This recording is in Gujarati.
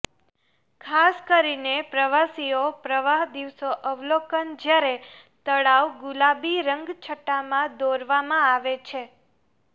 ખાસ કરીને પ્રવાસીઓ પ્રવાહ દિવસો અવલોકન જ્યારે તળાવ ગુલાબી રંગછટા માં દોરવામાં આવે છે